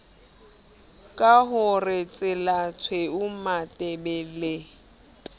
ka ho re tselatshweu matebele